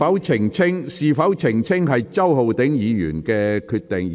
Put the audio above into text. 澄清與否由周浩鼎議員自行決定。